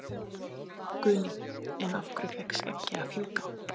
Guðný: En af hverju fékk skeggið að fjúka?